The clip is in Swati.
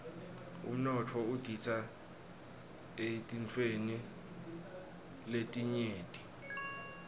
umnotfo udita eetintfweni letinyenti